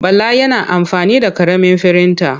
Bala yana amfani da ƙaramin firinta.